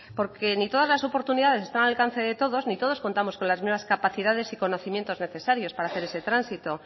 porque ni todas las oportunidades están al alcance de todos ni todos contamos con las mismas capacidades y conocimientos necesarios para hacer ese tránsito